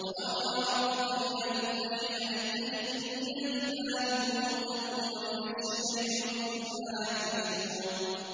وَأَوْحَىٰ رَبُّكَ إِلَى النَّحْلِ أَنِ اتَّخِذِي مِنَ الْجِبَالِ بُيُوتًا وَمِنَ الشَّجَرِ وَمِمَّا يَعْرِشُونَ